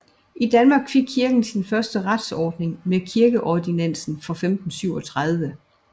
I Danmark fik kirken sin første retsordning med kirkeordinansen fra 1537